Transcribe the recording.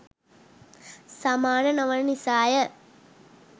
සමාන නොවන නිසාය.